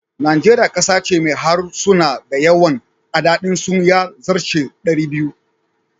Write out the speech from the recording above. Nigeria kasa ce mai harsuna da yawan adadin su ya zarce 200.